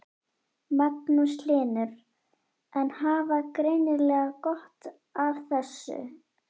Magnús Hlynur: En hafa greinilega gott af þessu?